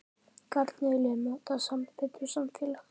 Hvernig viljum við móta sambönd og samfélag?